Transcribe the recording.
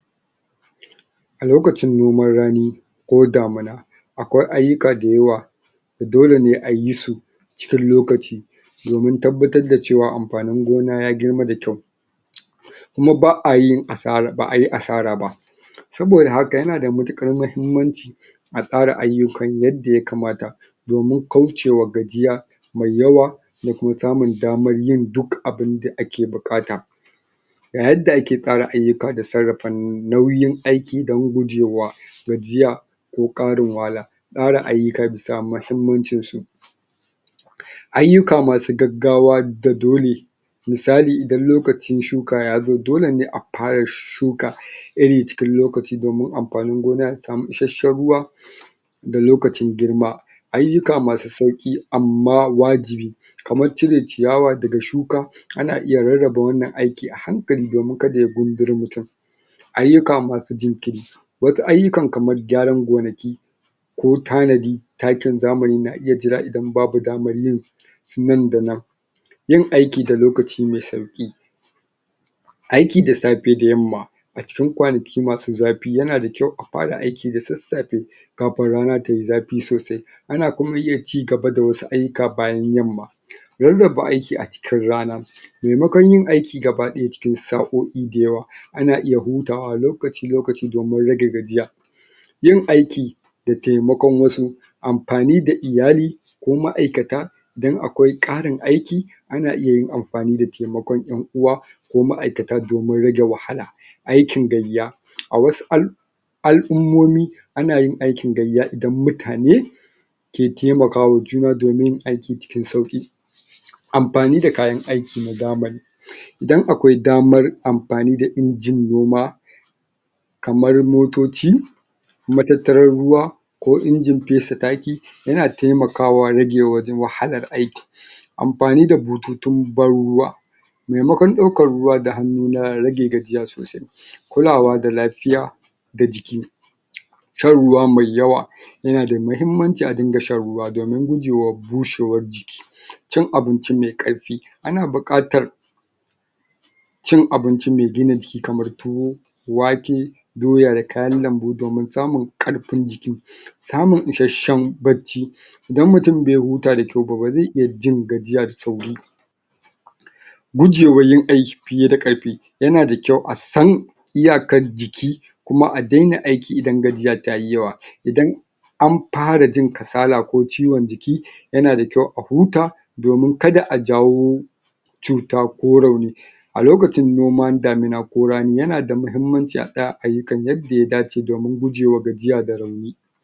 A lokacin noman rani ko damina akwai ayyuka da yawa da dole ne a yi su cikin lokaci domin tabbatar da cewa amfanin gona ya girma da kyau kuma ba'a yi asara ba saboda haka yana da matuƙar mahimmanci a tsara ayyukan yadda yakamata domin kaucewa gajiya mai yawa da kuma samun daman yin duk abinda ake buƙata ga yadda ake tsara ayyuka da sarrafa nauyin aiki dan gujewa gajiya ko ƙarin wahala tsara ayyuka da sa mahimmancin su ayyuka masu gaggawa da dole misali idan lokacin shuka yazo dole ne a fara shuka iri cikin lokaci domin amfanin gona ya samu isashen ruwa da lokacin girma ayyuka masu sauƙi amma wajibi kamar cire ciyawa daga shuka ana iya rarraba wannan aiki a hankali domin kada ya gunduri mutun ayyuka masu jinkiri wasu ayyukan kaman gyaran gonaki ko tanadi takin zamani na iya jira idan babu damar yin su nan da nan yin aiki da lokaci me sauƙi aiki da safe da yamma a cikin kwanaki masu zafi yana da kyau a fara aiki da sassafe kafin rana tayi zafi sosai ana kuma iya cigaba da wasu ayyuka bayan yamma rarraba aiki da cikin rana maimakon yin aiki gabaɗaya cikin sa'o'i da yawa ana iya hutawa lokaci-lokaci domin rage gajiya yin aiki da taimakon wasu amfani da iyali ko ma'aikata dan akwai ƙarin aiki ana iya yin amfani da taimakon ƴan'uwa ko ma'aikata domin rage wahala aikin gayya, a wasu al al'ummomi ana yin aikin gayya idan mutane ke taimaka ma juna domin yin aiki cikin sauƙi amfani da kayan aiki na zamani idan akwai damar amfani da injin noma kamar motoci, matattaran ruwa ko injin fesa taki yana taimakawa rage wahalar aiki amfani da bututun ban ruwa maimakon ɗaukan ruwa da hannu na rage gajiya sosai kulawa da lafiya da jiki shan ruwa mai yawa yana da mahimmanci a dinga shan ruwa domin gujewa bushewar jiki cin abinci me ƙarfi ana buƙatar cin abinci me gina jiki kamar tuwo, wake, doya da kayan lambu domin samun ƙarfin jiki samun isashen bacci idan mutun bai huta da kyau ba, ba zai iya jin gajiya da sauri gujewa yin aiki fiye da ƙarfi yana da kyau a san iyakan jiki kuma a daina aiki idan gajiya tayi yawa, idan amfara jin kasala ko ciwon jiki yana da kyau a huta domin kada a jawo cuta ko rauni a lokacin noman damina ko rani yana da mahimmanci a tsaya a ayyukan yadda ya dace domin gujewa gajiya da rauni.